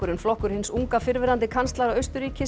flokkur hins unga fyrrverandi kanslara Austurríkis